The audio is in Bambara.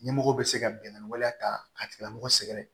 Ɲɛmɔgɔw bɛ se ka binkani waleya ta k'a tigilamɔgɔ sɛgɛrɛ